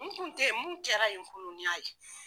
N kun tɛ ye mun kɛra yen kunu n y'a ye.